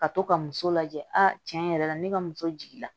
Ka to ka muso lajɛ a tiɲɛ yɛrɛ la ne ka muso jiginna